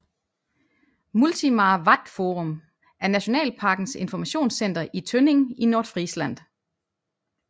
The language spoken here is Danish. Multimar Wattforum er nationalparkens informationscenter i Tønning i Nordfrisland